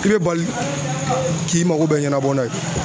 I bɛ bali k'i mako bɛ ɲɛnabɔ n'a ye.